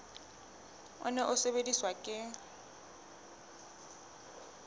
o ne o sebediswa ke